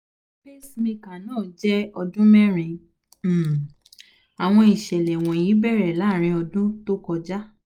pacemaker náà jẹ́ ọdún merin - um àwọn ìṣẹ̀lẹ̀ wọ̀nyí bẹ̀rẹ̀ láàrin ọdún tó kọjá